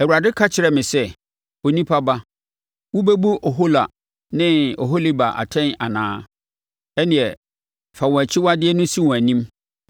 Awurade ka kyerɛɛ me sɛ, “Onipa ba, wobɛbu Ohola ne Oholiba atɛn anaa? Ɛnneɛ fa wɔn akyiwadeɛ no si wɔn anim,